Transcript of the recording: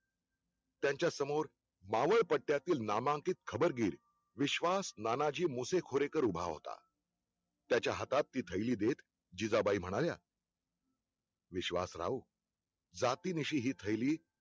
त्यांच्यासमोर मावळपट्यातील नामांकित खबरगीर विश्वास नानाजी मोसेखोरेकर उभा होता, त्याचा हातात ती थैली देत जिजाबाई म्हणाल्या विश्वासराव जातींनीसी हि थैली